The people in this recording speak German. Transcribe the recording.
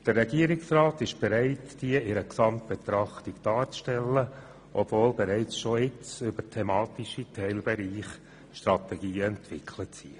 Der Regierungsrat ist bereit, eine solche Gesamtbetrachtung zusammenzustellen, obwohl bereits Strategien über thematische Teilbereiche entwickelt sind.